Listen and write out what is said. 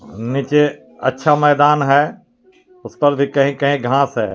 नीचे अच्छा मैदान है उस पर भी कही कही घास है।